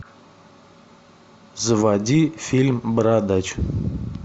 заводи фильм бородач